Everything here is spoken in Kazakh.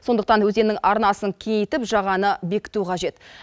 сондықтан өзеннің арнасын кеңейтіп жағаны бекіту қажет